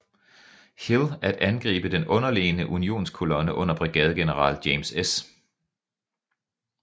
Hill at angribe den underlegne unionskolonne under brigadegeneral James S